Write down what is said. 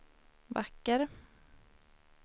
vacker